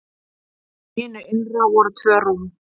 Í hinu innra voru tvö rúm.